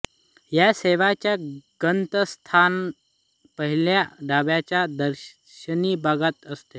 या सेवांचे गंतव्यस्थान पहिल्या डब्याच्या दर्शनी भागात असते